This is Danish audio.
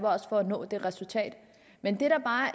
os på at nå det resultat men